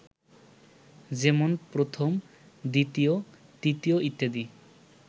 যেমন প্রথম, দ্বিতীয়, তৃতীয় ইত্যাদি